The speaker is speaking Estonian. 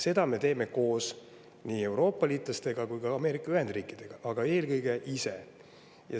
Seda me teeme koos nii Euroopa-liitlastega kui ka Ameerika Ühendriikidega, aga eelkõige ise.